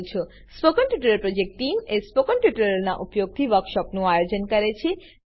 spoken tutorial project team spoken ટ્યુટોરીયલોનાં ઉપયોગથી વર્કશોપોનું આયોજન કરે છે